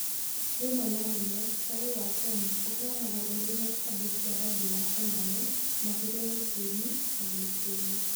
Rĩmwe na rĩmwe cai wa Kenya ũheanagwo ũrĩ na ikombe cia rangi wa enamel, makĩria mĩciĩ-inĩ ya mĩciĩ-inĩ.